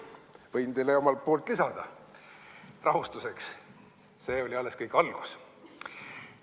Võin teile omalt poolt lisada, rahustuseks: see kõik oli alles algus.